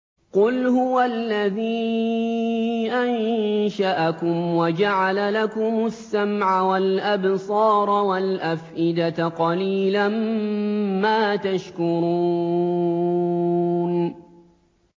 قُلْ هُوَ الَّذِي أَنشَأَكُمْ وَجَعَلَ لَكُمُ السَّمْعَ وَالْأَبْصَارَ وَالْأَفْئِدَةَ ۖ قَلِيلًا مَّا تَشْكُرُونَ